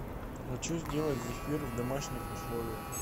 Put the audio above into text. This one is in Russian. хочу сделать зефир в домашних условиях